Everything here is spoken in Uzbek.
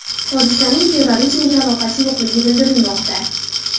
Hodisaning terrorizmga aloqasi yo‘qligi bildirilmoqda.